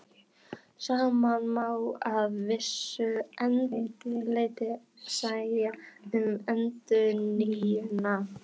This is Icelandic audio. Sama má að vissu leyti segja um endurnýjunina.